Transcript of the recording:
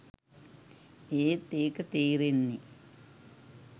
ඒත් ඒක තේරෙන්නෙ